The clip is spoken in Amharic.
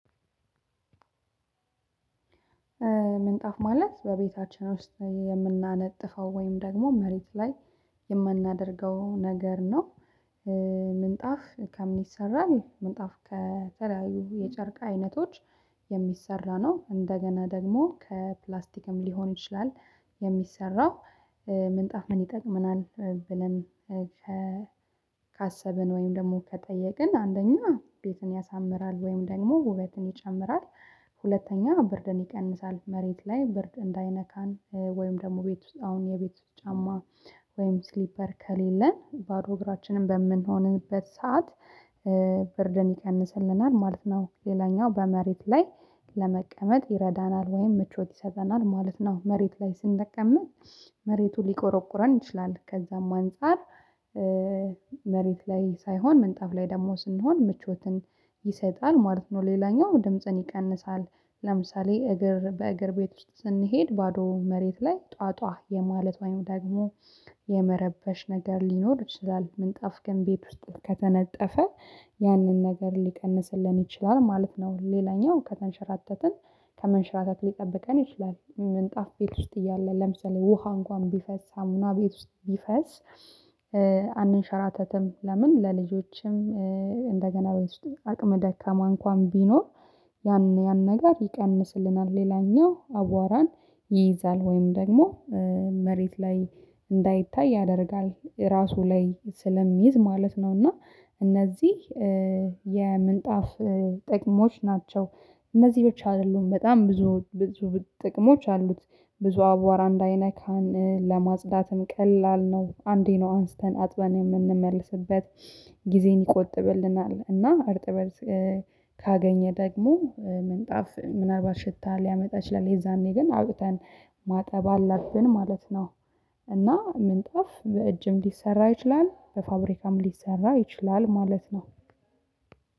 ምንጣፍ ማለት በቤታችን ውስጥ የምናነጥፈው ወይም ደግሞ መሬት ላይ የማናደርገው ነገር ነው። ምንጣፍ ከምን ይሰራል? ከተለያዩ የጨርቅ አይነቶች የሚሰራ ነው እንደገና ደግሞ ከፕላስቲክም ሊሆን ይችላል። የሚሰራው ምንጣፍ ምን ይጠቅመናል? ብለን ካሰብን ወይም ደግሞ ከጠየቅን አንደኛ ቤትን ያሳምራል ወይም ደግሞ ውበትን ይጨምራል። ሁለተኛ ብርድን ይቀንሳል መሬት ላይ ብርድ እንዳይነካን ወይም ደግሞ ቤት ውስጥ አሁን የቤት ጫማ ወይም ስሊፐር ከሌለን ባዶ እግራችንን በምንሆንበት ሰዓት ብርድን ይቀንስልናል ማለት ነው። ሌላኛው በመሬት ላይ ለመቀመጥ ይረዳናል ወይም ምቾት ይሰጠናል ማለት ነው። መሬት ላይ ስንቀመጥ መሬቱ ሊቆረቁረን ይችላል ከዛም አንፃር። መሬት ላይ ሳይሆን ምንጣፍ ላይ ደግሞ ስንሆን ምቾትን ይሰጣል ማለት ነው። ሌላኛው ድምጽን ይቀንሳል። ለምሳሌ እግር በእግር ቤት ውስጥ ስንሄድ ባዶ መሬት ላይ ጧጧ የማለት ወይም ደግሞ የመረበሽ ነገር ሊኖር ይችላል ምንጣፍ ግን ቤት ውስጥ ከተነጠፈ ያንን ነገር ሊቀንስልን ይችላል ማለት ነው። ሌላኛው ከተንሸራተትን ከመንሸራተት ሊጠብቀን ይችላል። ምንጣፍ ቤት ውስጥ እያለ ለምሳሌ ውሃ እንኳን ቢፈስ ሳሙና ቤት ውስጥ ቢፈስ አንሸራተትም። ለምን ለልጆችም? እንደገና ቤት ውስጥ አቅም ደካማ እንኳን ቢኖር ያን ነገር ይቀንስልናል። ሌላኛው አቧራን ይይዛል ወይም ደግሞ መሬት ላይ እንዳይታይ ያደርጋል ራሱ ላይ ስለሚይዝ ማለት ነው። እና እነዚህ የምንጣፍ ጥቅሞች ናቸው። እነዚህ ብቻ አይደሉም በጣም ብዙ ብዙ ጥቅሞች አሉት። ብዙ አቧራ እንዳይነካን ለማጽዳትም ቀላል ነው አንዴ ነው አንስተን አጥበን የምንመልስበት ጊዜን ይቆጥብልናል። እና እርጥበት ካገኘ ደግሞ ምንጣፍ ምን አልባት ሽታ ሊያመጣ ይችላል። የዛኔ ግን አውቅተን ማጠብ አለብን ማለት ነው። እና ምንጣፍ በእጅም ሊሰራ ይችላል በፋብሪካም ሊሰራ ይችላል ማለት ነው።